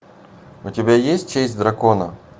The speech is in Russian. у тебя есть честь дракона